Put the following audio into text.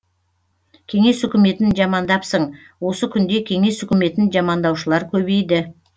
кеңес үкіметін жамандапсың осы күнде кеңес үкіметін жамандаушылар көбейді